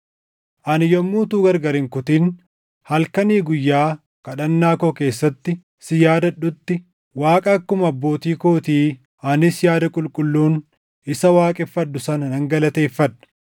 Ani yommuu utuu gargar hin kutin halkanii guyyaa kadhannaa koo keessatti si yaadadhutti Waaqa akkuma abbootii kootii anis yaada qulqulluun isa waaqeffadhu sana nan galateeffadha.